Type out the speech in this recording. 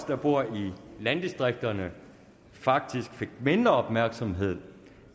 der bor i landdistrikterne faktisk fik mindre opmærksomhed